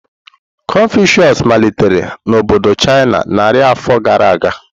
Confucius malitere na obodo China narị afọ gara aga.